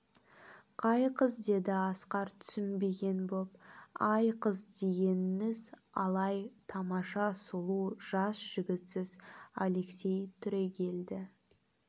қай қыз деді асқар түсінбеген боп ай қыз дегеніңіз алай тамаша сұлу жас жігітсіз алексей түрегелді